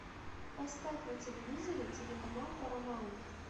поставь на телевизоре телеканал парамаунт